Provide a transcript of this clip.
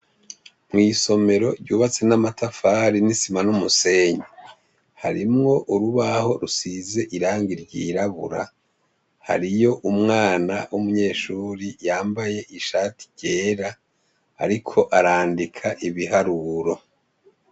Mw' isomero ryubatse n' amatafari n' isima n' umusenyi, harimw' urubaho rusiz' irangi ryirabura, hariy' umwana w' umunyeshure yambay' ishati ryera, arik' arandik' ibiharuro.